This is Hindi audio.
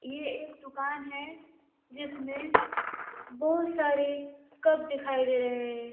ये एक दुकान है जिसमें बहुत सारे कप दिखाई दे रहे हैं।